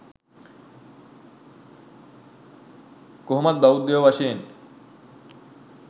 කොහොමත් බෞද්ධයෝ වශවෙන්